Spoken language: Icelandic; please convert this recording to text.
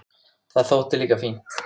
Það þótti líka fínt.